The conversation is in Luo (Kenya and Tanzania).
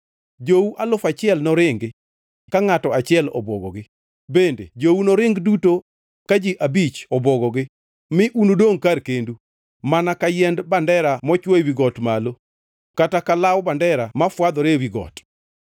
Jou alufu achiel noringi ka ngʼato achiel obwogogi; bende jou noring duto ka ji abich obwogogi, mi unudongʼ kar kendu, mana ka yiend bandera mochwo ewi got malo kata ka law bandera mafwadhore ewi got.”